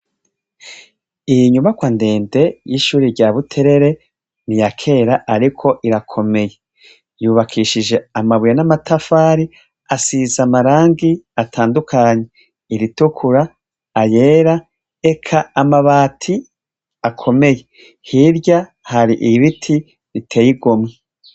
Iyi nyubakwa ndende y'ishure rya Buterere ni iya kera ariko irakomeye yubakishije amabuye n'amatafari asize amarangi atandukanye : iritukura, ayera, eka amabati akomeye. Hirya hari ibiti biteye igomwe.